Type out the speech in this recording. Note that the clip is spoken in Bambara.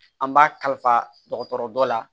An b'a kalifa dɔgɔtɔrɔ dɔ la